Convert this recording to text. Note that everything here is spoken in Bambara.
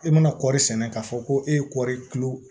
E mana kɔri sɛnɛ k'a fɔ ko e ye kɔɔri kilo